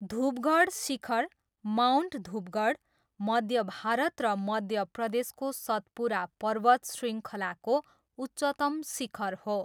धुपगढ शिखर, माउन्ट धुपगढ, मध्य भारत र मध्य प्रदेशको सतपुरा पर्वत श्रृङ्खलाको उच्चतम शिखर हो।